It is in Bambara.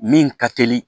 Min ka teli